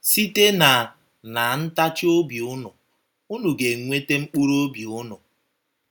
“ Site ná ná ntachi obi unu, unu ga - enweta mkpụrụ obi unu. ”